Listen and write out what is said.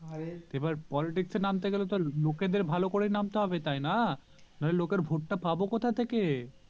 এবার politics এ তো নামতে গেলেই লোকে দেড় ভালো করে নামতে হবে তাইনা নাহলে লোকের vote পাবো কথা থেকে